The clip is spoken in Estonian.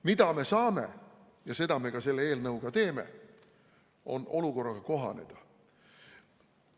Mida me saame teha – ja seda me ka selle eelnõuga teeme –, on olukorraga kohanemine.